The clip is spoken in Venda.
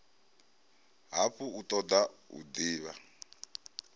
hafhu a toda u divha